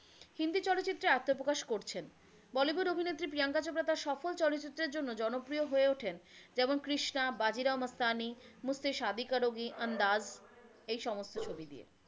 হিন্দি চলচ্চিত্রে আত্মপ্রকাশ করছেন। বলিউড অভিনেত্রী প্রিয়াংকা চোপড়া তার সফল চলচ্চিত্রের জন্য জনপ্রিয় হয়ে ওঠেন, যেমন কৃষ্ণা, বাজিরাও মস্তানী, মুজসে শাদী কারোগী, আন্দাজ এই সমস্ত ছবি দিয়ে।